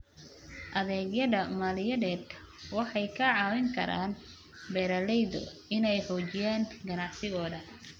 Adeegyada maaliyadeed waxay ka caawin karaan beeralayda inay xoojiyaan ganacsigooda.